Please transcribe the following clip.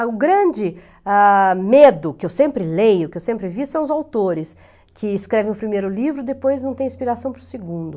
O grande ah, medo que eu sempre leio, que eu sempre vi, são os autores, que escrevem o primeiro livro e depois não tem inspiração para o segundo.